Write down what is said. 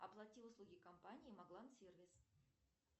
оплати услуги компании маглан сервис